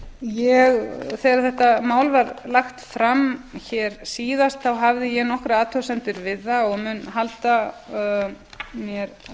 uppljóstrara þegar þetta mál var lagt fram hér síðast hafði ég nokkrar athugasemdir við það og mun halda mér